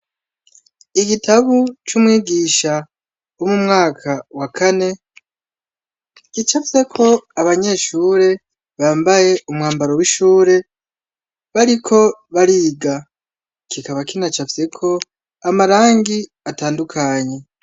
Igitabo c’umwigisha w’umwaka wa kane, gicafyeko abanyeshure bambaye umwambaro w’ishure bariko bariga, kikaba kinacafyeko amarangi atandukanye.